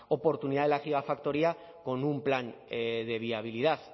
oportunidad de la ciudad factoría con un plan de viabilidad